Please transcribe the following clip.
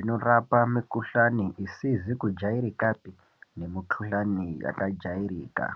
inorapa mukhulani isizi kujairikapi nemikhuhlani yakajairika.